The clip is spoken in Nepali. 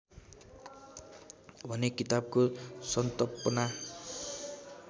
भने किताबको सन्तपना